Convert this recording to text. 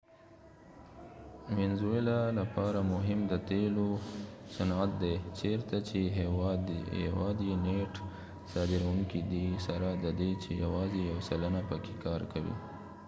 د وينزويلاvenezuela لپاره مهم د تیلو صنعت دي ، چېرته چې هیواد یې نیټ صادرونکې دي سره ددې چې یواځې یو سلنه پکې کار کوي